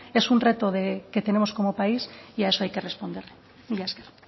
es un reto que tenemos como país y a eso hay que responder mila esker